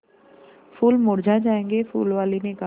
फूल मुरझा जायेंगे फूल वाली ने कहा